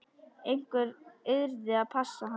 Einhver yrði að passa hann.